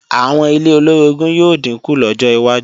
Àwọn ilé olóorogún yóò dínkù lọ́jọ wájú